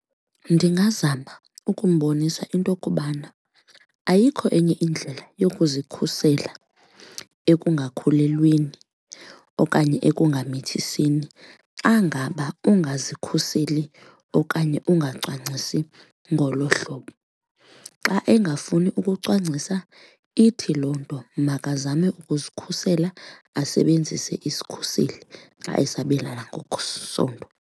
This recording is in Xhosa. Ndingazama ukumbonisa into okubana ayikho enye indlela yokuzikhusela ukungakhulelweni okanye ekungamithisini xa ngaba ungazikhuseli okanye ungacwangcisi ngolo hlobo. Xa engafuni ukucwangcisa ithi loo nto makazame ukuzikhusela asebenzise isikhuseli xa esabelana ngokwesondo.